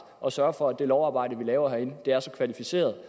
og sørger for at det lovarbejde vi laver herinde er så kvalificeret